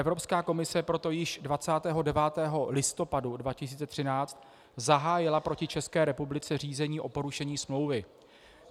Evropská komise proto již 29. listopadu 2013 zahájila proti České republice řízení o porušení smlouvy.